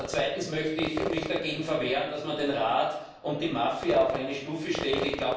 Zweitens möchte ich mich dagegen verwehren, dass man den Rat und die Mafia auf eine Stufe stellt.